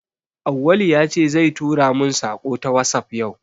Auwalu ya ce zai tura mun saƙo ta wasap yau